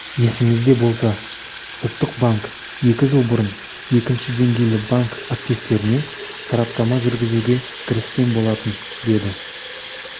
есіңізде болса ұлттық банк екі жыл бұрын екінші деңгейлі банк активтеріне сараптама жүргізуге кіріскен болатын деді